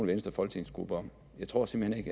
venstres folketingsgruppe om jeg tror simpelt hen